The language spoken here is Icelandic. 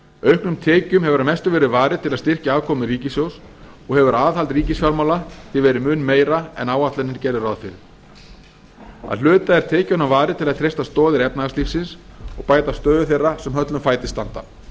auknum tekjum hefur að mestu verið varið til að styrkja afkomu ríkissjóðs og hefur aðhald ríkisfjármála því verið mun meira en áætlanir gerðu ráð fyrir að hluta er tekjunum varið til að treysta stoðir efnahagslífsins og bæta stöðu þeirra sem höllum fæti standa